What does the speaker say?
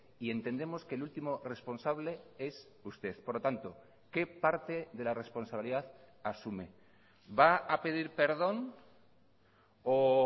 y entendemos que el último responsable es usted por lo tanto qué parte de la responsabilidad asume va a pedir perdón o